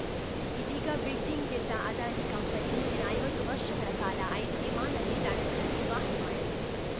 ಇದೀಗ ಬಿಡ್ಡಿಂಗ್‌ ಗೆದ್ದ ಅದಾನಿ ಕಂಪನಿ ಮುಂದಿನ ಐವತ್ತು ವರ್ಷಗಳ ಕಾಲ ಐದು ವಿಮಾನ ನಿಲ್ದಾಣಗಳ ನಿರ್ವಹಣೆ ಮಾಡಲಿದೆ